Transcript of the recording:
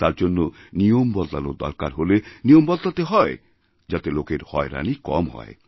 তার জন্যনিয়ম বদলানোর দরকার হলে নিয়ম বদলাতে হয় যাতে লোকের হয়রানি কম হয়